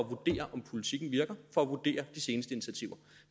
vurdere om politikken virker og vurdere de seneste initiativer